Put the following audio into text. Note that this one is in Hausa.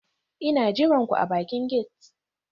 Ina jiran ku a bakin gate